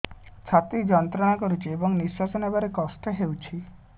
ଛାତି ଯନ୍ତ୍ରଣା କରୁଛି ଏବଂ ନିଶ୍ୱାସ ନେବାରେ କଷ୍ଟ ହେଉଛି